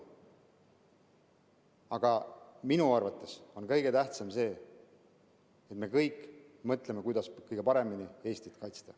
Aga minu arvates on kõige tähtsam see, et me kõik mõtleme, kuidas kõige paremini Eestit kaitsta.